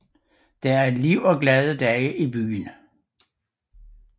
Der er liv og glade dage i byen